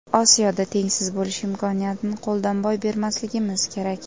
Osiyoda tengsiz bo‘lish imkoniyatini qo‘ldan boy bermasligimiz kerak.